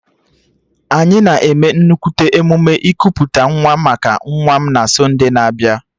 Anyị na-eme nnukwu emume ikuputa nwa maka nwa m na sonde na-abịa